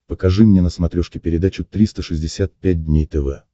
покажи мне на смотрешке передачу триста шестьдесят пять дней тв